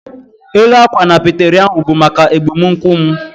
Élú akwa na peteri ahụ bu maka egbumunkwu m